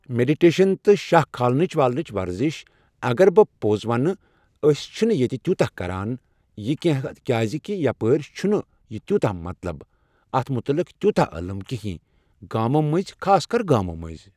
meditation تہٕ شاہ کھالنٕچ والنٕچ ورزش اَگر بہٕ پوٚز وَنہٕ أسۍ چھِ نہٕ ییٚتہِ تیٚوٗتاہ کران یہِ کِہینہ کیازِ کہِ یپٲرۍ چھُ نہٕ یہِ تیٚوٗتاہ مطلب اَتھ متعلق تیوٗتاہ علم کِہینۍ گامو مٔنزۍ خاص کر گامو مٔنزۍ